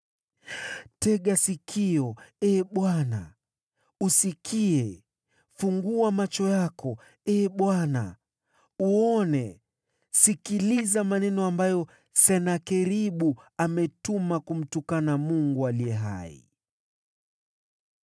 Tega sikio, Ee Bwana , usikie; fungua macho yako, Ee Bwana , uone; sikiliza maneno ambayo Senakeribu ametuma kumtukana Mungu aliye hai.